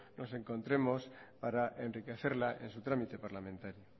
nos encontremos para enriquecerla en su trámite parlamentario